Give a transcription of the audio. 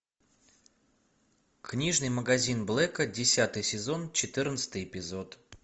книжный магазин блэка десятый сезон четырнадцатый эпизод